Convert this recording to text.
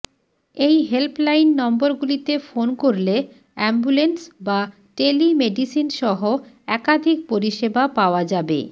এই হেল্পলাইন নম্বরগুলিতে ফোন করলে অ্যাম্বুল্যান্স বা টেলিমেডিসিনসহ একাধিক পরিষেবা পাওয়া যাবে